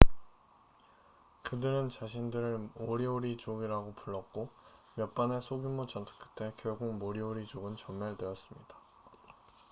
그들은 자신들을 모리오리족이라고 불렀고 몇 번의 소규모 전투 끝에 결국 모리오리족은 전멸되었습니다